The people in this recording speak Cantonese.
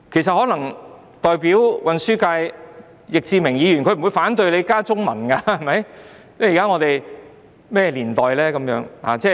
航運交通界的易志明議員不會反對我們加入中文，現在是甚麼年代？